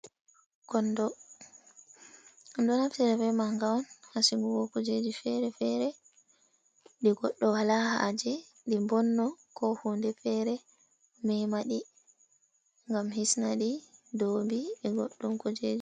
Konndo ɓe ɗo naftira be maaga on, haa sigugo kujeji fere-fere ,ɗi goɗɗo walaa haaje ɗi mbonno, ko hunde feere meema ɗi ngam hisnaɗi ndoobi be goɗɗum kujeji.